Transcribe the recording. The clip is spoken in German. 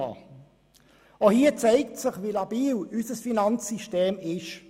Auch hier zeigt sich, wie labil unser Finanzsystem ist.